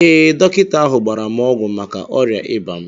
Ee, dọkịta ahụ gbara m ọgwụ maka ọrịa ịba m